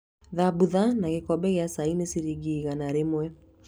Thambutha na gĩkombe gĩa cai nĩ ciringi igana rĩmwe